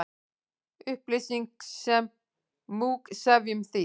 Upplýsing sem múgsefjun, þýð.